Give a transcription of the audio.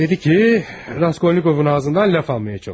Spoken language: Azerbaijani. Dedi ki, Raskolnikovun ağzından söz almağa çalış.